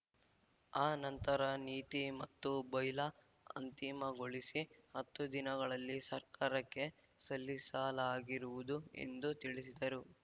ಆ ನಂತರ ನೀತಿ ಮತ್ತು ಬೈಲಾ ಅಂತಿಮಗೊಳಿಸಿ ಹತ್ತು ದಿನಗಳಲ್ಲಿ ಸರ್ಕಾರಕ್ಕೆ ಸಲ್ಲಿಸಲಾಗಿರುವುದು ಎಂದು ತಿಳಿಸಿದರು